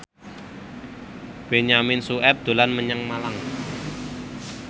Benyamin Sueb dolan menyang Malang